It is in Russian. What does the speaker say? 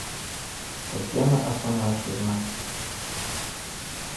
татьяна афанасьевна